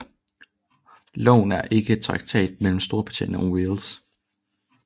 Loven er ikke traktat mellem Storbritannien og Wales